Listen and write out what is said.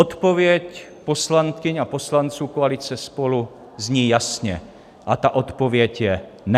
Odpověď poslankyň a poslanců koalice SPOLU zní jasně a ta odpověď je: Ne!